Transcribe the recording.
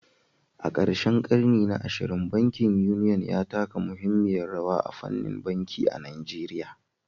A karshen ƙarni na 20, bankin Union ya taka muhimmiyar rawa a fannin banki a Najeriya